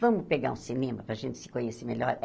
Vamos pegar um cinema para a gente se conhecer melhor?